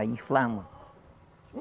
Aí inflama.